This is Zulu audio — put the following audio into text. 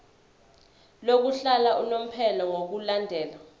lokuhlala unomphela ngokulandela